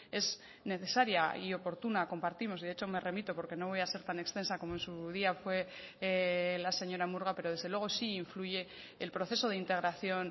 es necesaria y oportuna compartimos de hecho me remito porque no voy a ser tan extensa como en su día fue la señora murga pero desde luego sí influye el proceso de integración